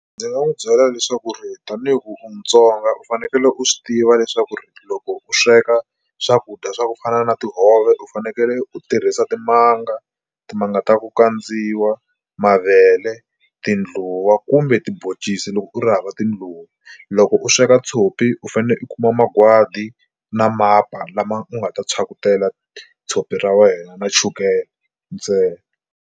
Ndzi nga n'wi byela leswaku ri tanihi ku u mutsonga u fanekele u swi tiva leswaku ri loko u sweka swakudya swa ku fana na tihove u fanekele u tirhisa timanga timanga ta ku kandziyisiwa mavele tindluwa kumbe tiboncisi loko u ri hava tindluwa. Loko u sweka tshopi u fanele u kuma magwadi na mapa lama u nga ta phyakutela tshopi ra wena na chukele ntsena.